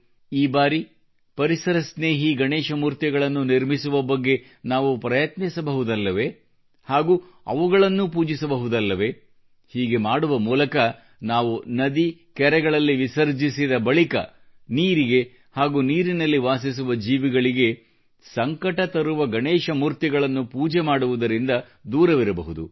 ಈ ಬಾರಿ ಪರಿಸರಸ್ನೇಹಿ ಗಣೇಶ ಮೂರ್ತಿಗಳನ್ನು ನಿರ್ಮಿಸುವ ಬಗ್ಗೆ ನಾವು ಪ್ರಯತ್ನಿಸಬಹುದಲ್ಲವೇ ಹಾಗೂ ಅವುಗಳನ್ನು ಪೂಜಿಸಬಹುದಲ್ಲವೇ ಹೀಗೆ ಮಾಡುವ ಮೂಲಕ ನಾವು ನದಿ ಕೆರೆಗಳಲ್ಲಿ ವಿಸರ್ಜಿಸಿದ ಬಳಿಕ ನೀರಿಗೆ ಹಾಗೂ ನೀರಿನಲ್ಲಿ ವಾಸಿಸುವ ಜೀವಿಗಳಿಗೆ ಸಂಕಟ ತರುವ ಗಣೇಶ ಮೂರ್ತಿಗಳನ್ನು ಪೂಜೆ ಮಾಡುವುದರಿಂದ ದೂರವಿರಬಹುದು